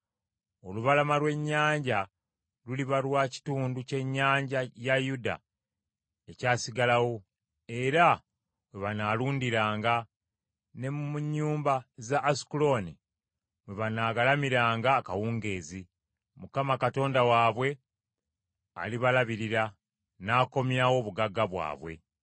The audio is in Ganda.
Olubalama lw’ennyanja luliba lwa kitundu ky’ennyumba ya Yuda ekyasigalawo era we banaalundiranga, ne mu nnyumba za Asukulooni mwe banaagalamiranga akawungeezi. Mukama Katonda waabwe alibalabirira, n’akomyawo obugagga bwabwe.